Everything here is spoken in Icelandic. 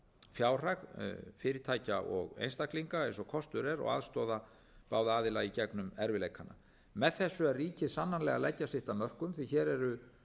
fjárhag fyrirtækja og einstaklinga eins og kostur er og aðstoða báða aðila í gegnum erfiðleikana með þessu er ríkið sannarlega að leggja sitt af mörkum því hér eru